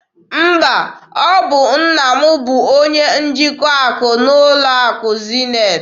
Mba, ọ bụ nna m bụ onye njikwa akụ n'ụlọ akụ Zenith.